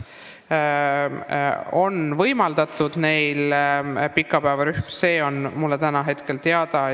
Neile lastele on võimaldatud osaleda pikapäevarühmas, see on mulle täna teada.